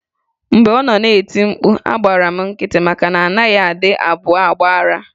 Mgbe ọ nọ na-eti mkpu, agbara m nkịtị maka na a naghị adị abụọ agba ara.